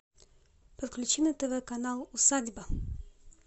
подключи на тв канал усадьба